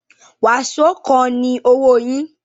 Waṣo kan ni owo yin